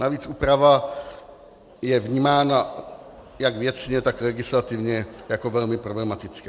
Navíc úprava je vnímána jak věcně, tak legislativně jako velmi problematická.